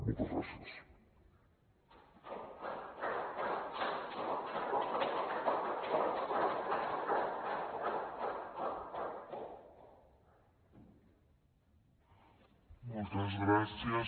moltes gràcies